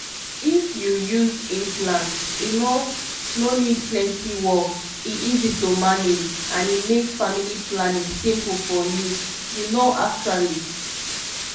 if you use implant e no no need plenty work — e easy to manage and e make family planning simple for you you know actually.